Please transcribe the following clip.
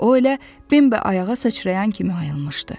O elə Bembi ayağa sıçrayan kimi ayılmışdı.